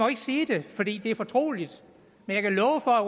ikke sige det for det det er fortroligt men jeg kan love for at